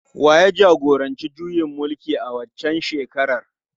Wa ya jagoranci juyin mulkin a waccan shekarar?